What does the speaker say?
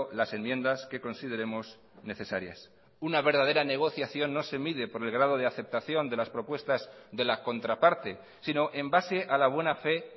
las enmiendas que consideremos necesarias una verdadera negociación no se mide por el grado de aceptación de las propuestas de la contraparte sino en base a la buena fe